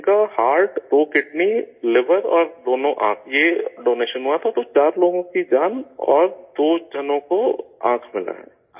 ان کا ہارٹ، دو kidney, liver اور دونوں آنکھ، یہ ڈونیشن ہوا تھا تو چار لوگوں کی جان اور دو لوگوں کو آنکھ ملی ہے